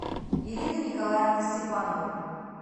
ирина николаевна степанова